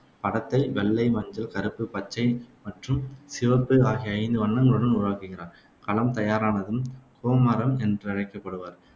படத்தை வெள்ளை, மஞ்சள், கருப்பு, பச்சை மற்றும் சிவப்பு ஆகிய ஐந்து வண்ணங்களுடன் உருவாக்குகிறார். களம் தயாரானதும் கொமாரம் என்றழைக்கப்படுவார்